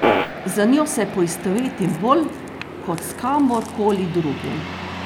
Z njo se poistovetim bolj kot s kamorkoli drugim.